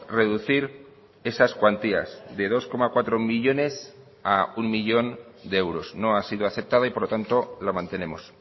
reducir esas cuantías de dos coma cuatro millónes a uno millón de euros no ha sido aceptada y por lo tanto lo mantenemos